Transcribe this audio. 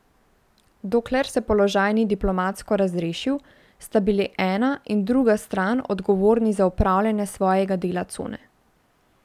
Dokler se položaj ni diplomatsko razrešil, sta bili ena in druga stran odgovorni za upravljanje svojega dela cone.